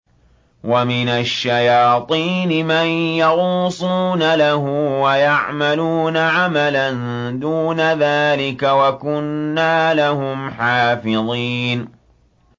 وَمِنَ الشَّيَاطِينِ مَن يَغُوصُونَ لَهُ وَيَعْمَلُونَ عَمَلًا دُونَ ذَٰلِكَ ۖ وَكُنَّا لَهُمْ حَافِظِينَ